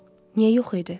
Niyə yox idi?